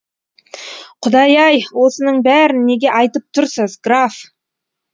құдай ай осының бәрін неге айтып тұрсыз граф